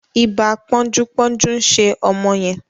Iba ponju-ponju nṣe ọmọ yen.